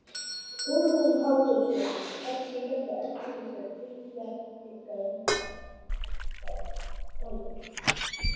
Hugrún Halldórsdóttir: Kannski hérna eldurinn sem yljar ykkur líka?